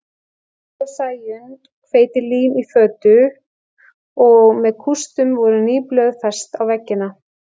Barði og Sæunn hveitilím í fötu og með kústum voru ný blöð fest á veggina.